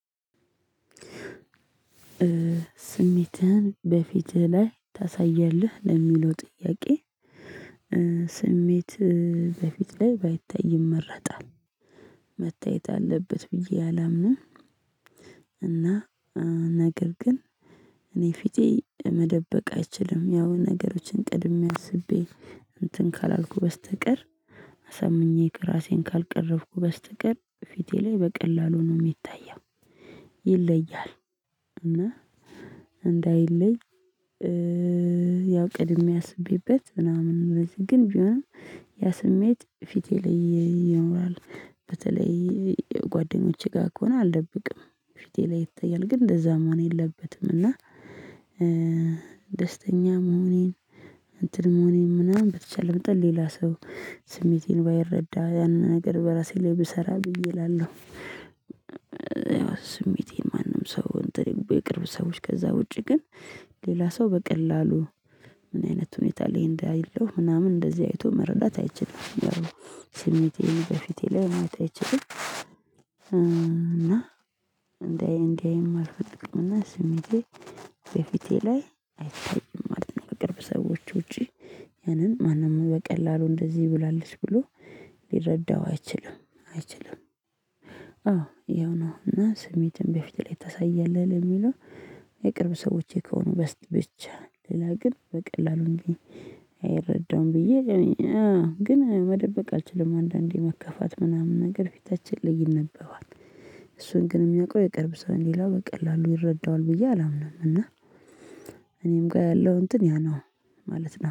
ስሜትህን በፊትህ ላይ ታሳያለህ ለሚለው ጥያቄ? ስሜት በፊት ላይ ባይታይ ይመረጣል መታየት አለበት ብዬ አላምንም። እና ነገር ግን እኔ ፊቴ መደበቅ አይችልም ያው ነገሮችን ቀድሜ አስቤ እንትን ካላልኩ በስተቀር ሰምኜ ራሴን ካልቀረብኩ በስተቀር ፊቴ ላይ በቀላሉ ነው የሚታየው። ይለያል እና እንዳይለይ። ያው ቀድሜ አስቤበት ምናምን በዚህ ግን ቢሆንም ያ ስሜት ፊቴ ላይ ይኖራል። በተለይ ጓደኞቼ ጋር ከሆነ አልደብቅም። ፊቴ ላይ ይታያል ግን እንደዛም መሆን የለበትም። እና ደስተኛ መሆኔን እንትን መሆኔን ምናምን ብችል በጣም ሌላ ሰው ስሜቴን ባይረዳ ያንን ነገር በራሴ ላይ ብሰራ ብዬ እላለሁ። ያው ስሜቴን ማንም ሰው እንትን የቅርብ ሰዎች ከዛ ውጪ ግን ሌላ ሰው በቀላሉ ምን አይነት ሁኔታ ላይ እንዳይለው ምናምን እንደዚህ አይቶ መረዳት አይችልም። ስሜቴን በፊቴ ላይ ማየት አይችልም። እና እንደዚህ እንደዚህ አልፈልግምና ስሜቴ ከፊቴ ላይ አይታይም ማለት ነው። ከቅርብ ሰዎች ውጪ ያንን ማንም በቀላሉ እንደዚህ ብላለች ብሎ ሊረዳው አይችልም አይችልም። አዎ ይኸው ነው እና ስሜትን በፊት ላይ ታሳያለህ የሚለው የቅርብ ሰዎቼ ከሆኑ በስት ብቻ ሌላ ግን በቀላሉ እንዴ አይረዳውም። ብዬ አዎ ግን መደበቅ አልችልም። አንዳንዴ መከፋት ምናምን ነገር ፊታችን ላይ ይነበባል። እሱን ግን የሚያውቀው የቅርብ ሰው ሌላው በቀላሉ ይረዳዋል ብዬ አላምንም። እና እኔም ጋር ያለው እንትን ያ ነው ማለት ነው